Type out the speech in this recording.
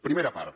primera part